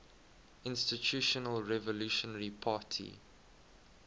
institutional revolutionary party